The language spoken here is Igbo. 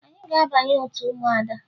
Anyị ga-abanye otu ụmụada